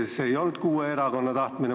See ei olnud kuue erakonna tahtmine.